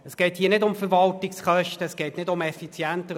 Es geht nicht um Verwaltungskosten und auch nicht um Effizienz.